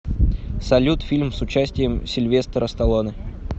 салют фильм с участием сильвестра сталлоне